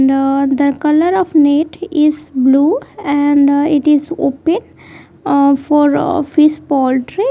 note the colour of net is blue and it is opaque ah for fish poultry.